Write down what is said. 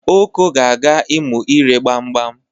Oko ga-aga ịmụ ire gbam gbam.